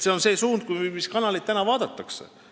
See on suund sellele, mis kanaleid praegu vaadatakse.